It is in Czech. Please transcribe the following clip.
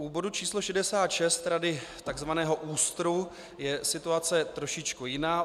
U bodu číslo 66, Rady tzv. ÚSTR, je situace trošku jiná.